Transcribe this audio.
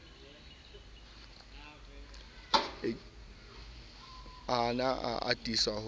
o ne a atisa ho